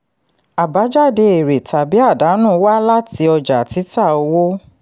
àbájáde èrè tàbí àdánù wá láti ọjà títà owó.